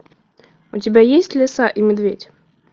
у тебя есть лиса и медведь